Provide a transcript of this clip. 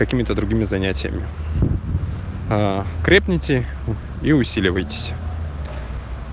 какими-то другими занятиями крепните и усиливайтесь